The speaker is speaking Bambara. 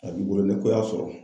A b'i bolo ne ko y'a sɔrɔ.